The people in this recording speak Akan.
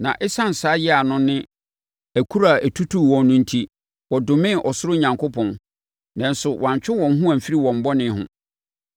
na ɛsiane saa yea no ne akuro a ɛtutuu wɔn no enti, wɔdomee ɔsoro Onyankopɔn. Nanso, wɔantwe wɔn ho amfiri wɔn bɔne ho.